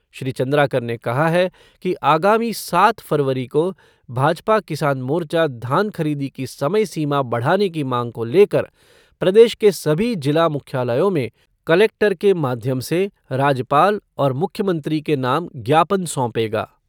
श्री चंद्राकर ने कहा है कि आगामी सात फरवरी को भाजपा किसान मोर्चा धान खरीदी की समय सीमा बढ़ाने की मांग को लेकर प्रदेश के सभी जिला मुख्यालयों में कलेक्टर से माध्यम से राज्यपाल और मुख्यमंत्री के नाम ज्ञापन सौंपेगा।